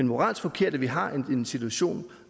moralsk forkert at vi har en situation